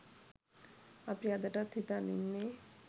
අපි අදටත් හිතන් ඉන්නේ